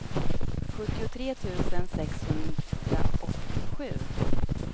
sjuttiotre tusen sexhundraåttiosju